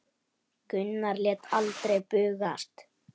Gunnar lét aldrei bugast.